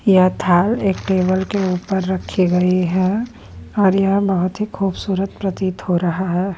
यह थाल एक टेबल के ऊपर रखी गई है और यह बहुत ही खूबसूरत प्रतीत हो रहा है।